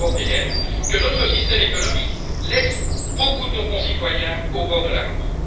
On commence à comprendre que notre système économique laisse beaucoup de concitoyens au bord de la route.